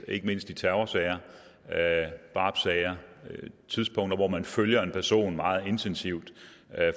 ikke mindst i terrorsager drabssager tidspunkter hvor man følger en person meget intensivt